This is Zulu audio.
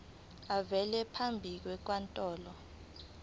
avele phambi kwenkantolo